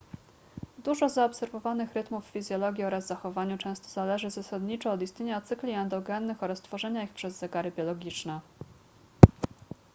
dużo zaobserwowanych rytmów w fizjologii oraz zachowaniu często zależy zasadniczo od istnienia cykli endogennych oraz tworzenia ich przez zegary biologiczne